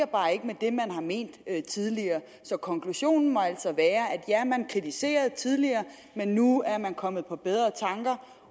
bare ikke med det man har ment tidligere så konklusionen må altså være ja man kritiserede det tidligere men nu er man kommet på bedre tanker